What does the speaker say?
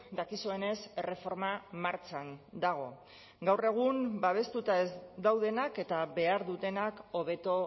dakizuenez erreforma martxan dago gaur egun babestuta ez daudenak eta behar dutenak hobeto